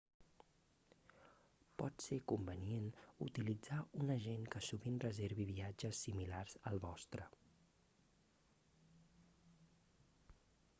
pot ser convenient utilitzar un agent que sovint reservi viatges similars al vostre